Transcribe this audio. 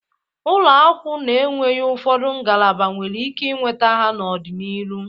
Ụlọakwụ na-enweghi ụfọdụ ngalaba nwere ike inweta ha n'ọdị n'iru.